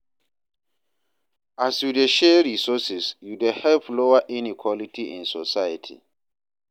as yu dey share resources, yu dey help lower inequality in society.